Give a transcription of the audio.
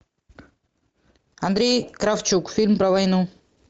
андрей кравчук фильм про войну